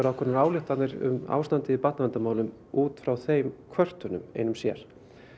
ákveðnar ályktanir um ástandið í barnaverndarmálum út frá þeim kvörtunum einum sér